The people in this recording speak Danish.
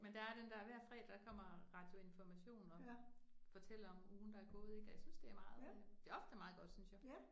Men der er den der, hver fredag kommer Radio Information og fortæller om ugen der er gået ik, og jeg synes det er meget øh, det ofte meget godt synes jeg